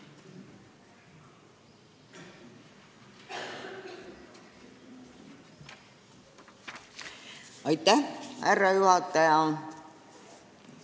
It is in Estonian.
Aitäh, härra juhataja!